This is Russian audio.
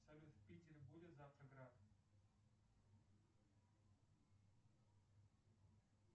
салют в питере будет завтра град